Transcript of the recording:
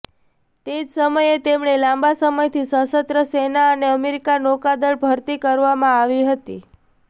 તે જ સમયે તેમણે લાંબા સમયથી સશસ્ત્ર સેના અને અમેરિકા નૌકાદળ ભરતી કરવામાં આવી હતી